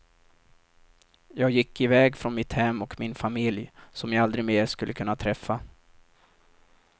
Jag gick iväg från mitt hem och min familj, som jag aldrig mer skulle kunna träffa.